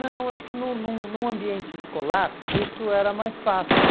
Não, acho que num num num ambiente escolar isso era mais fácil.